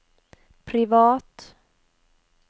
privat